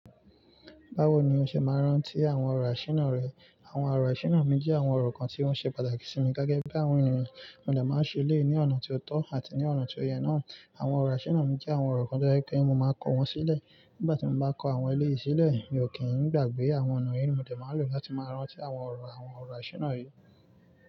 Báwo ni o ṣe máa rántí àwọn ọ̀rọ̀ àṣìná rẹ? Àwọn ọ̀rọ̀ àṣìná mi jẹ́ àwọn ọ̀rọ̀ kan tí wọ́n ṣe pàtàkì sí mi gẹ́gẹ́ bí àwọn ènìyàn. Mọ dà máa ń ṣe eléyìí ní ọ̀nà tí ó tọ́ àti ní ọ̀nà tí ó yẹ náà. Àwọn ọ̀rọ̀ àṣìná mi jẹ́ àwọn ọ̀rọ̀ kan tó jẹ́ pé mo máa kọ wọ́n sílẹ̀. Nígbà tí mo bá kọ àwọn eléyìí sílẹ̀, mi ò kí ń gbàgbé àwọn ọ̀nà yẹn mọ̀ dé máa lò láti máa rántí àwọn ọ̀rọ̀, àwọn ọ̀rọ̀ àṣìná yìí.